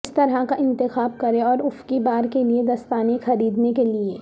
کس طرح کا انتخاب کریں اور افقی بار کے لئے دستانے خریدنے کے لئے